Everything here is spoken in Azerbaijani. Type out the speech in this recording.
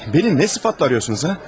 Məni nə sıfatla arıyorsunuz?